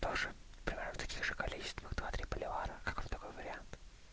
тоже ты на таких количества два три бульвара как вам такой вариант